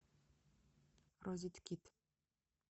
розеткид